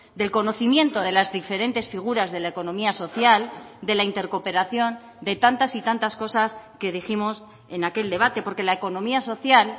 del conocimiento de las diferentes figuras de la economía social de la intercooperación de tantas y tantas cosas que dijimos en aquel debate porque la economía social